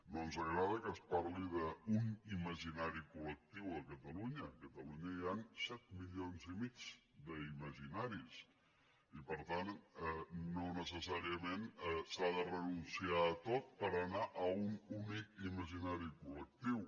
no ens agrada que es parli d’un imaginari col·lectiu a catalunya a catalunya hi han set milions i mig d’imaginaris i per tant no necessàriament s’ha de renunciar a tot per anar a un únic imaginari col·lectiu